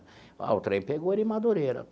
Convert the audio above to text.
Ah, o trem pegou ele em Madureira.